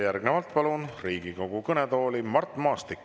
Järgnevalt palun Riigikogu kõnetooli Mart Maastiku.